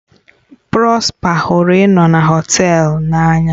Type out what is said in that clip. Prosper hụrụ ịnọ na họtel n'anya.